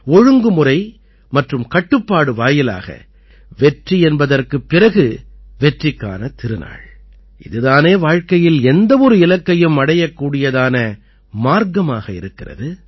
ஒழுங்குமுறை மற்றும் கட்டுப்பாடு வாயிலாக வெற்றி என்பதற்குப் பிறகு வெற்றிக்கான திருநாள் இது தானே வாழ்க்கையில் எந்த ஒரு இலக்கையும் அடையக்கூடியதான மார்க்கமாக இருக்கிறது